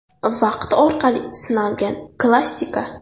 Vaqt orqali sinalgan klassika.